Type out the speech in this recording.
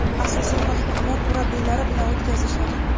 asosiy vaqtni ular murabbiylari bilan o‘tkazishadi.